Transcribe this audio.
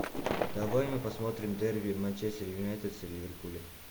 давай мы посмотрим дерби манчестер юнайтед с ливерпулем